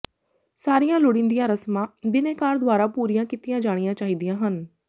ਸਾਰੀਆਂ ਲੋੜੀਂਦੀਆਂ ਰਸਮਾਂ ਬਿਨੈਕਾਰ ਦੁਆਰਾ ਪੂਰੀਆਂ ਕੀਤੀਆਂ ਜਾਣੀਆਂ ਚਾਹੀਦੀਆਂ ਹਨ